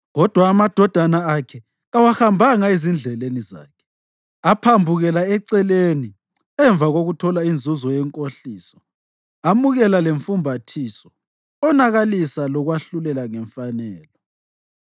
Kodwa amadodana akhe kawahambanga ezindleleni zakhe. Aphambukela eceleni emva kokuthola inzuzo yenkohliso amukela lemfumbathiso, onakalisa lokwahlulela ngemfanelo.